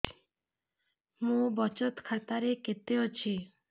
ମୋ ବଚତ ଖାତା ରେ କେତେ ଅଛି